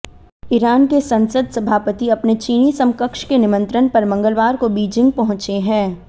Iran के संसद सभापति अपने चीनी समकक्ष के निमंत्रण पर मंगलवार को बीजिंग पहुंचे हैं